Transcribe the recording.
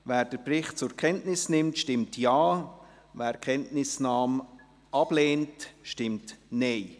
Wer den Bericht zur Kenntnis nimmt, stimmt Ja, wer die Kenntnisnahme ablehnt, stimmt Nein.